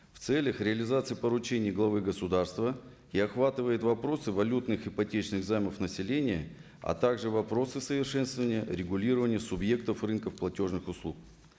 в целях реализации поручения главы государства и охватывает вопросы валютных ипотечных займов населения а так же вопросы совершенствования регулирования субъектов рынков платежных услуг